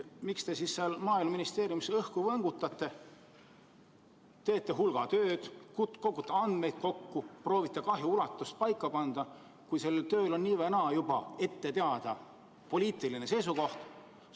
Miks te seal Maaeluministeeriumis õhku võngutate – teete hulga tööd, kogute andmeid kokku, proovite kahju ulatust kokku arvutada –, kui sellel tööl on nii või naa juba ette teada poliitiline seisukoht?